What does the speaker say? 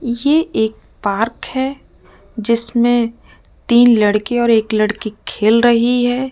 ये एक पार्क है जिसमें तीन लड़के और एक लड़की खेल रही है।